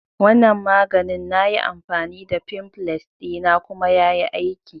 Wanan maganin na yi amfani da fimfles dina kuma ya yi aiki